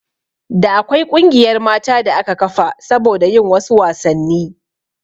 Da akwai ƙungiyar mata da aka kafa saboda yin wasu wasanni